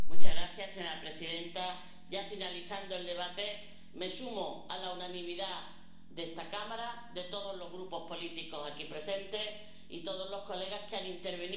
Señora presidenta, ya finalizando el debate, me sumo a la unanimidad de esta Cámara, de todos los grupos políticos aquí presentes y todos los diputados que han intervenido